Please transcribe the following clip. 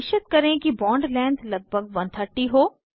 निश्चित करें कि बॉन्ड लेंथ लगभग 130 हो